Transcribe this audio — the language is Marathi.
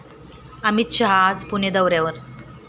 अमित शहा आज पुणे दौऱ्यावर